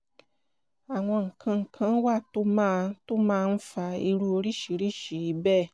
àwọn nǹkan kan wà tó máa tó máa ń fa irú oríṣiríṣi bẹ́ẹ̀